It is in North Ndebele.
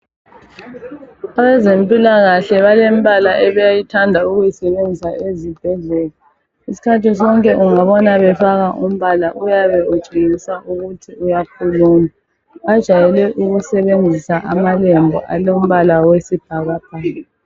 Abezempilakahle balembala abathanda ukuyisebenzisa ezibhedlela isikhathi sonke ungabona befaka umbala uyabe utshengisa ukuthi uyakhuluma bajayele ukusebenzisa amalembu alombala wesibhakabhaka.